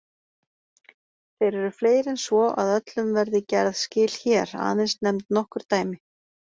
Þeir eru fleiri en svo að öllum verði gerð skil hér, aðeins nefnd nokkur dæmi.